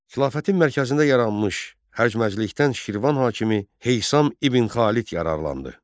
Xilafətin mərkəzində yaranmış həşməcilikdən Şirvan hakimi Heysam ibn Xalid yararlandı.